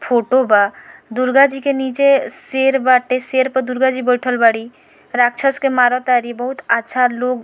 photo बा दुर्गा जी के नीचे शेर बाटे शेर पे दुर्गा जी बइठल बाड़ी राछस के मार तारी बहुत अच्छा लोग --